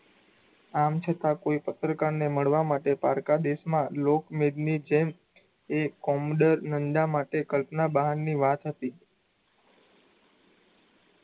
આમ છતાં કોઈ પત્રકાર ને મળવા માટે પારકાં દેશમાં લોકમેટ ની જેમ એ કોમડર નંદા માટે કલ્પનાં બહારની વાત હતી